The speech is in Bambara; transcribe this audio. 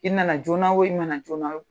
I nana joona o, i nana joona o